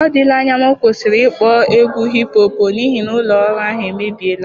Ọ dịla anya m kwụsịrị ịkpọ egwu hipụ họp, n'ihi na ụlọ ọrụ ahụ emebiela.